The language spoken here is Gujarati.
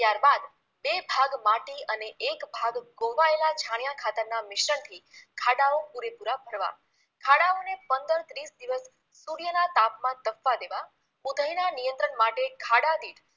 બે ભાગ માટી અને એક ભાગ કોહવાયેલા છાણિયા ખાતરના મિશ્રણથી ખાડાઓ પૂરેપુરા ભરવા ખાડાઓને પંંદર ત્રીસ દિવસ સૂર્યના તાપમાન તપવા દેવા ઉધઈના નિયંત્રણ માટે ખાડાદીઠ